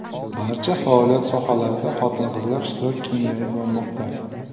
Barcha faoliyat sohalarida xotin-qizlar ishtiroki kengayib bormoqda.